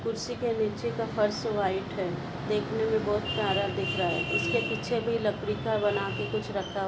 कुर्सी के नीचे का फर्श व्हाइट है देखने मे बहुत प्यारा दिख रहा है उसके पीछे भी लकड़ी का बना भी कुछ रखा--